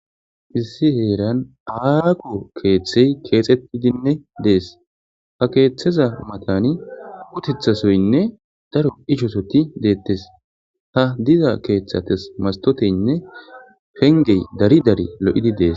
issi heeran aako keeththey keexettidinne dees ha keeththeza matani kutethasoynne daro ichosoti deettes ha diza keeththates mastoteynne fengey dari dari lo7idi dees